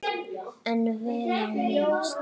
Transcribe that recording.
En vel á minnst.